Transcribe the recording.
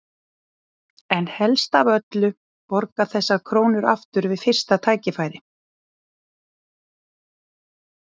En helst af öllu borga þessar krónur aftur við fyrsta tækifæri.